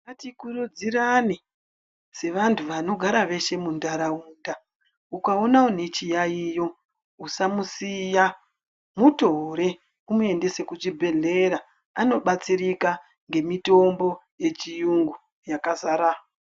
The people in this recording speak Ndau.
Ngatikurudzirane sevantu vanogara veshe muntaraunda. Ukaona une chiyaiyo usamusiya mutore umuendese kuchibhehlera anobatsirika nemitombo yechiyungu yakazara.